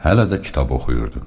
Hələ də kitab oxuyurdu.